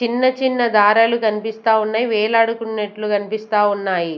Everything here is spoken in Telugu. చిన్న చిన్న దారలు కనిపిస్తా ఉన్నాయి వేలాడుకున్నట్లు కనిపిస్తా ఉన్నాయి.